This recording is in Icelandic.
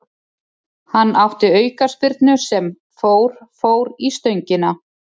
Hann átti aukaspyrnu sem fór fór í stöngina.